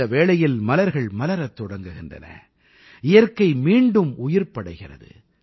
இந்த வேளையில் மலர்கள் மலரத் தொடங்குகின்றன இயற்கை மீண்டும் உயிர்ப்படைகிறது